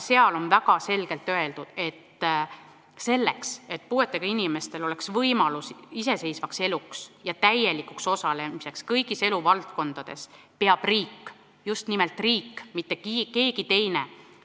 Seal on väga selgelt öeldud: selleks, et puuetega inimestel oleks võimalus iseseisvaks eluks ja täielikuks osalemiseks kõigis eluvaldkondades, peab riik – just nimelt riik, mitte keegi teine!